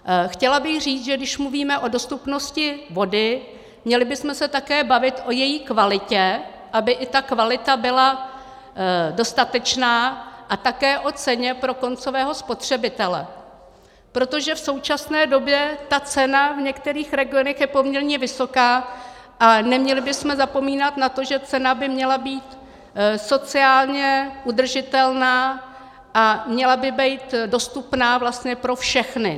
Chtěla bych říct, že když mluvíme o dostupnosti vody, měli bychom se také bavit o její kvalitě, aby i ta kvalita byla dostatečná, a také o ceně pro koncového spotřebitele, protože v současné době ta cena v některých regionech je poměrně vysoká, a neměli bychom zapomínat na to, že cena by měla být sociálně udržitelná a měla by být dostupná vlastně pro všechny.